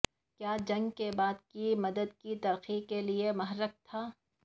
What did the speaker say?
کیا جنگ کے بعد کی مدت کی ترقی کے لئے محرک تھا